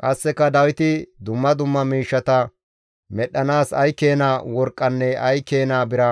Qasseka Dawiti dumma dumma miishshata medhdhanaas ay keena worqqanne ay keena bira